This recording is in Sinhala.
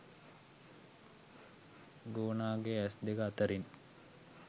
ගෝනාගේ ඇස් දෙක අතරින්